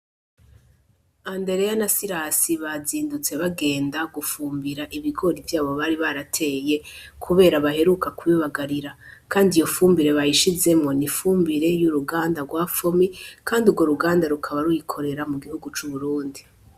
Andereya na Sirasi bazindutse bagenda gufumbira ibigori vyabo bari barateye kubera baheruka kubibagarira; kandi iyofumbire bayishizemwo n'ifumbire y'uruganda gwa fomi kandi ugworuganda rukaba ruyikorera mugihugu c'UBURUNDI.